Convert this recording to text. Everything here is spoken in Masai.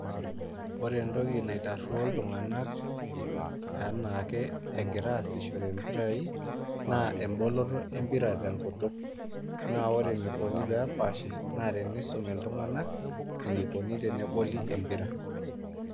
Ore etoki naitaruo iltungana anaa ake egira asishore mpirai naa eboloto epira te nkutuk, naa ore enaikoni pee epaashi naa tenisumi iltungana eneikoni tene boli empira.